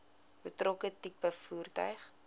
betrokke tipe voertuig